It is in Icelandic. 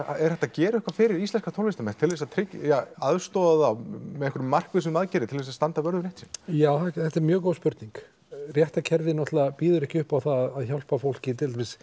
er hægt að gera eitthvað fyrir íslenska tónlistarmenn til þess að tryggja ja aðstoða þá með einhverjum markvissum aðgerðum til þess að standa vörð um rétt sinn já þetta er mjög góð spurning réttarkerfið náttúrulega býður ekki upp á það að hjálpa fólki